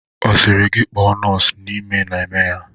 Ọ sịrị gị kpọọ nọọsụ n'ime na-eme ya.